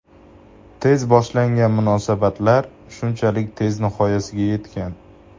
Tez boshlangan munosabatlar shunchalik tez nihoyasiga yetgan.